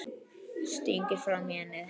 Stingir fram í ennið.